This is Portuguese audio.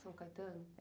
São Caetano?